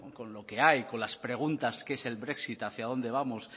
con lo que hay con las preguntas qué es el brexit hacia dónde vamos